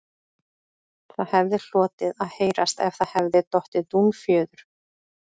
Það hefði hlotið að heyrast ef það hefði dottið dúnfjöður